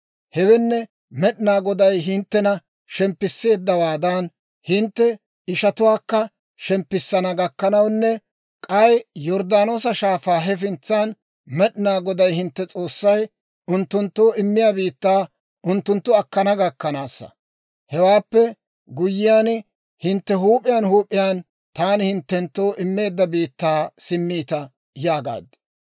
Hewenne, Med'inaa Goday hinttena shemppisseeddawaadan, hintte ishatuwaakka shemppissana gakkanawunne, k'ay Yorddaanoosa Shaafaa hefintsan, Med'inaa Goday hintte s'oossay unttunttoo immiyaa biittaa unttunttu akkana gakkanaasa. Hewaappe guyyiyaan, hintte huup'iyaan huup'iyaan, taani hinttenttoo immeedda biittaa simmiita› yaagaad.